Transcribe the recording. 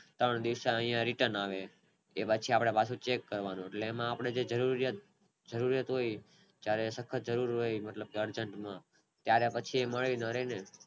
ત્રણ દિવસે આયા Return આવે એમાં પાછું આપણે cheque કરવાનું આપને જે જરૂરિયાત હોય ત્યારે પછી મળે